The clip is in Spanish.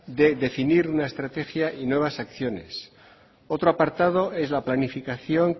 de definir una estrategia y nuevas acciones otro apartado es la planificación